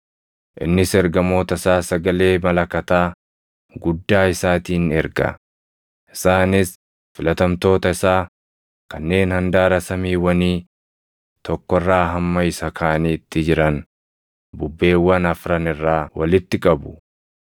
Innis ergamoota isaa sagalee malakataa guddaa isaatiin erga; isaanis filatamtoota isaa kanneen handaara samiiwwanii tokko irraa hamma isa kaaniitti jiran bubbeewwan afran irraa walitti qabu.